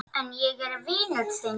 En ég er vinur þinn.